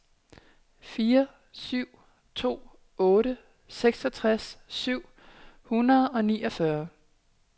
fire syv to otte seksogtres syv hundrede og niogfyrre